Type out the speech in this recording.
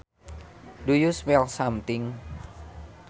Do you smell something